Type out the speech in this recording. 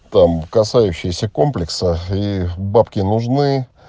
там касающиеся комплекса ии бабки нужны